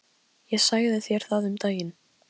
Ég sagði þér það um daginn.